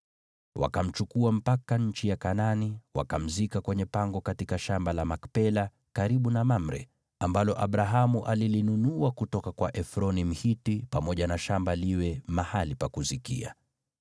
Wakamchukua mpaka nchi ya Kanaani, wakamzika kwenye pango katika shamba la Makpela, karibu na Mamre, ambalo Abrahamu alilinunua kutoka kwa Efroni, Mhiti, pamoja na shamba liwe mahali pa kuzikia.